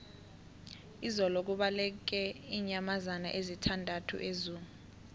izolo kubaleke iinyamazana ezisithandathu ezoo